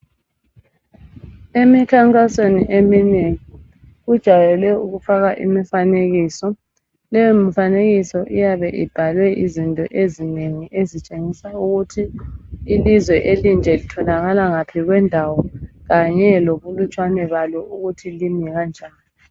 Emikhankasweni eminengi kujayele ukufakwa imifanekiso, leyo mifanekiso iyabe ibhalwe izinto ezinengi ezitshengisa ukuthi ilizwe elinje litholakala ngaphi kwendawo kanye lobulutshwane balo ukuthi kimi kanjani.